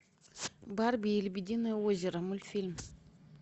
барби и лебединое озеро мультфильм